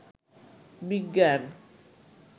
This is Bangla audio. বিজ্ঞান